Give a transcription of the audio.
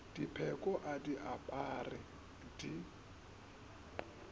dipheko a di apare di